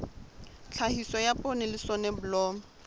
tlhahiso ya poone le soneblomo